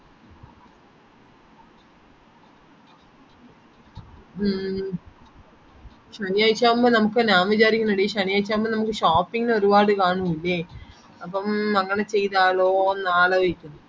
ഹമ് ശനിയാഴ്ച ആവുമ്പൊ നമുക്കേ ഞാൻ വിചാരിക്കുന്നെ എടീ ശനിയാഴ്ച ആവുമ്പൊ നമുക് shopping ന് ഒരുപാട് കാണൂലേ അപ്പം അങ്ങനെ ചെയ്താലോ അലോയ്ക്കുന്ന്